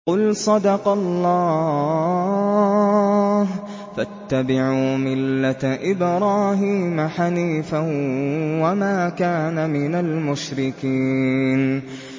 قُلْ صَدَقَ اللَّهُ ۗ فَاتَّبِعُوا مِلَّةَ إِبْرَاهِيمَ حَنِيفًا وَمَا كَانَ مِنَ الْمُشْرِكِينَ